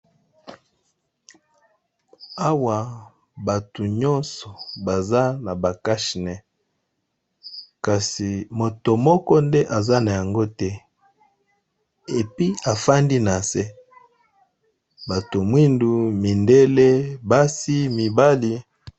Awa bato nyonso baza na ba cache nez kasi moto moko nde aza na yango te epi efandi na se, bato mwindu mindele basi mibali.